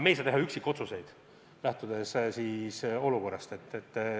Me ei saa teha üksikotsused, lähtudes olukorrast.